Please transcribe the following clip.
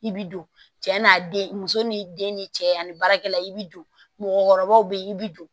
I bi don cɛ n'a den muso n'i den ni cɛ ani baarakɛla i bi don mɔgɔkɔrɔbaw be yen i bi don